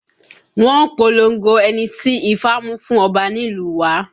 Wọ́n polongo ẹni tí ifá mú fún ọba nílùú wa